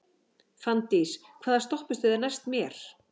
Fanndís, hvaða stoppistöð er næst mér?